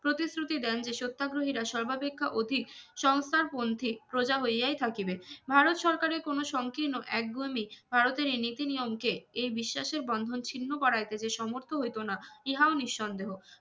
প্রতিশ্রুতি দেন যে সত্যাগ্রহীরা সর্বাপেক্ষা অতি সংস্থারপন্থী প্রজা হইয়াই থাকিবে ভারত সরকারের কোনো সংকীর্ণ এক ভারতের এই নিতি নিয়ম কে এই বিশ্বাসের বন্ধন ছিন্ন করার যে যে সমর্থন হইতো না ইহাও নিঃসন্দেহ